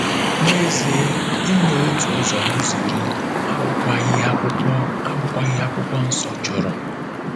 N'ezie, inye otu ụzọ n'ụzọ iri abụkwaghị ihe Akwụkwọ abụkwaghị ihe Akwụkwọ Nsọ chọrọ.